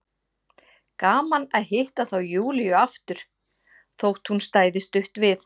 Gaman að hitta þá Júlíu aftur, þótt hún stæði stutt við.